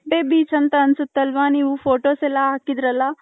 Malpe beach ಅನ್ಸುತ್ ಅಲ್ವ ನೀವು ಫೋಟೋಸ್ ಎಲ್ಲಾ ಅಕಿದ್ರಲ್ಲ .